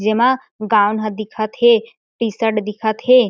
जेमा गाउन ह दिखत हे टी-शर्ट दिखत हे।